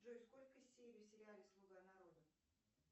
джой сколько серий в сериале слуга народа